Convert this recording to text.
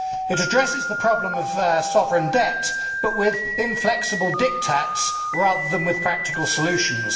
It addresses the problem of sovereign debt, but with inflexible diktats, rather than with practical solutions.